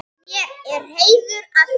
Mér er heiður að því.